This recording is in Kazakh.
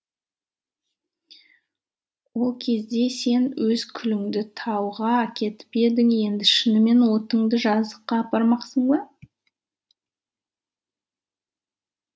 ол кезде сен өз күліңді тауға әкетіп едің енді шынымен отыңды жазыққа апармақсың ба